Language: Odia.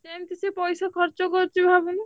ସେମତି ସିଏ ପଇସା ଖର୍ଚ୍ଚ କରୁଛି ଭାବୁନୁ।